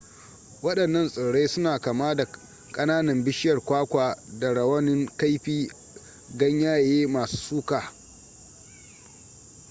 wadannan tsirrai suna kama da kananan bishiyar kwakwa da rawanin kaifi ganyaye masu suka